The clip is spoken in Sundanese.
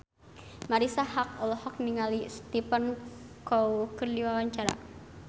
Marisa Haque olohok ningali Stephen Chow keur diwawancara